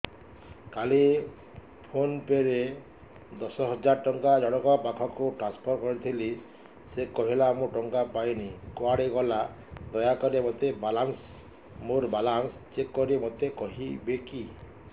କାଲି PhonePe ରେ ଦଶ ହଜାର ଟଙ୍କା ଜଣକ ପାଖକୁ ଟ୍ରାନ୍ସଫର୍ କରିଥିଲି ସେ କହିଲା ମୁଁ ଟଙ୍କା ପାଇନି କୁଆଡେ ଗଲା ଦୟାକରି ମୋର ବାଲାନ୍ସ ଚେକ୍ କରି ମୋତେ କହିବେ କି